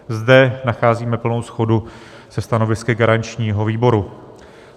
Zde nacházíme plnou shodu se stanovisky garančního výboru.